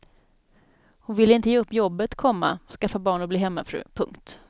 Hon ville inte ge upp jobbet, komma skaffa barn och bli hemmafru. punkt